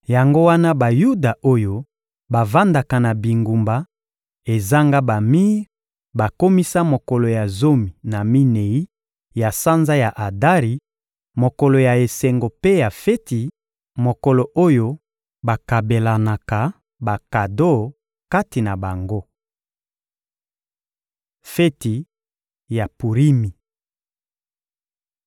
Yango wana Bayuda oyo bavandaka na bingumba ezanga bamir bakomisa mokolo ya zomi na minei ya sanza ya Adari, mokolo ya esengo mpe ya feti, mokolo oyo bakabelanaka bakado kati na bango. Feti ya Purimi